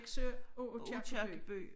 Nexø og Aakirkeby